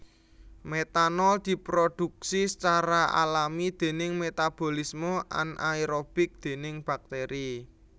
Metanol diprodhuksi sacara alami déning metabolisme anaerobik déning bakteri